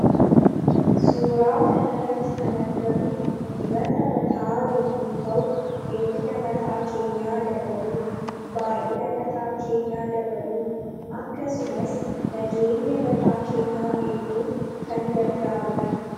Suura kana irratti kan argamu dibata mataa yommuu ta'u eerina mataa keenyaa dabaluuf baay'ina mataa keenyaa dabaluuf akkasumas nageenya mataa keenyaa eeguuf kan gargaarudha.